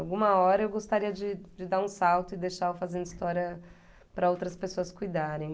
Alguma hora eu gostaria de de dar um salto e deixar o Fazendo História para outras pessoas cuidarem.